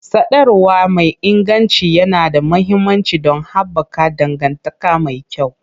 Sadarwa mai inganci yana da mahimmanci don haɓaka dangantaka mai kyau.